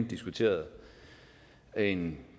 diskuteret en